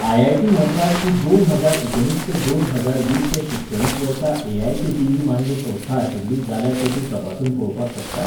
I I T Madras ही दोन हजार एकुणीस ते दोन हजार वीस ह्या शिक्षणीक वर्सा A I C T E मान्य संस्था आशिल्ली जाल्यार तें तूं तपासून पळोवपाक शकता?